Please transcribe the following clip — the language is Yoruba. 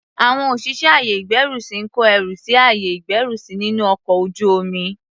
Àwọn òṣìṣẹ́ àyè ìgbẹ́rùsí ń kó ẹrù sí àyè ìgbẹ́rùsí nínú ọkọl ojú omi.